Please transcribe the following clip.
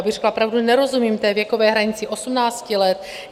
Abych řekla pravdu, nerozumím té věkové hranici 18 let.